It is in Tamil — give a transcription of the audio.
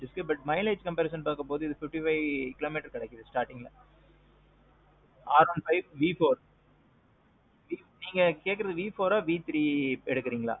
இப்போ இதுக்கு mileage comparison பாக்கும்போது இது ஒரு fifty five kilometers வரைக்கும் தரும். R one five V four. நீங்க சொல்றது V fourஅ இல்ல V three எடுக்குறதா இருக்கீங்களா?